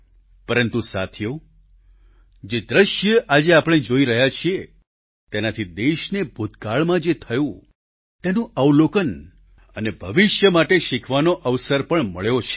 પરંતુ સાથીઓ જે દ્રશ્ય આજે આપણે જોઈ રહ્યા છીએ તેનાથી દેશને ભૂતકાળમાં જે થયું તેનું અવલોકન અને ભવિષ્ય માટે શીખવાનો અવસર પણ મળ્યો છે